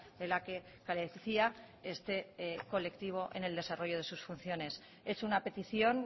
de la que carecía este colectivo en el desarrollo de sus funciones es una petición